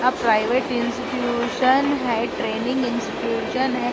आप private institution है training institution है।